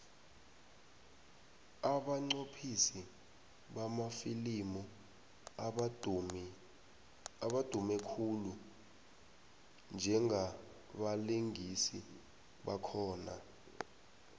abanqophisi bamafilimu abadumi khulu njengabalingisi bakhona